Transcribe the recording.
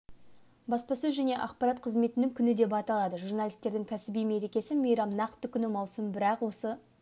баспасөз және ақпарат қызметінің күні деп аталады журналисттердің кәсіби мерекесі мейрам нақты күні маусым бірақ осы